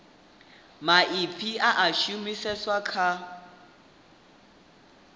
maipfi a a shumiseswa kha